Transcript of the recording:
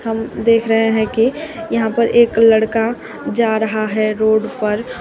हम देख रहे हैं कि यहां पर एक लड़का जा रहा है रोड पर।